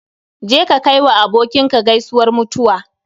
Je ka kai wa abokinka gaisuwar mutuwa